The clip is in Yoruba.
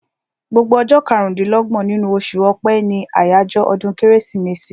Gbogbo ọjọ́ karùn-dín-lọ́gbọ̀n nínú oṣù ọpẹ́ ní àjọyọ̀ ọdún kérésìmesì